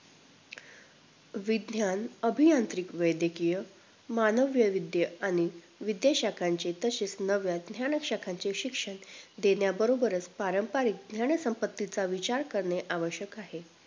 विज्ञान अभी यांत्रिक वैद्यकीय, मानव वैविध्य आणि विदे शाखांचे तसेच नव्या ज्ञान शाखांचे शिक्षण देण्या बरोबरच पारंपरिक ज्ञानसंपत्तीचा विचार करणे आवश्यक आहे